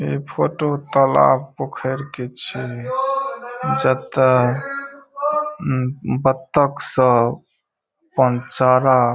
ए photo तालाब पोखर के छीये जेता उम्म बत्तख सब अपन चारा --